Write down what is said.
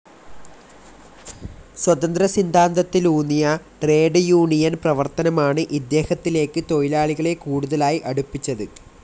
സ്വതന്ത്ര സിദ്ധാന്തത്തിലൂന്നിയ trade union പ്രവർത്തനമാണ് ഇദ്ദേഹത്തിലേക്ക് തൊഴിലാളികളെ കൂടുതലായി അടുപ്പിച്ചത്.